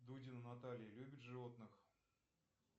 дудина наталья любит животных